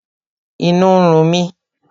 Inú ń run mi